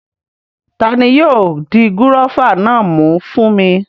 Tani yóò di gúróvà náà mú fún mi?